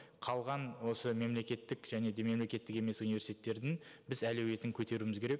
қалған осы мемлекеттік және де мемлекеттік емес университеттердің біз әлеуетін көтеруіміз керек